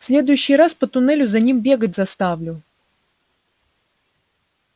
в следующий раз по туннелю за ними бегать заставлю